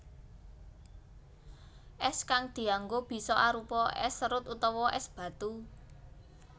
Es kang dianggo bisa arupa es serut utawa es batu